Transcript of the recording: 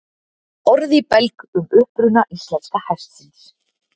Orð í belg um uppruna íslenska hestsins